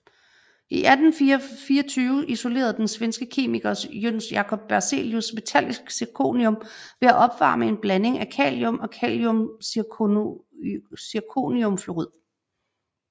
I 1824 isolerede den svenske kemiker Jöns Jakob Berzelius metallisk zirconium ved at opvarme en blanding af kalium og kaliumzirconiumfluorid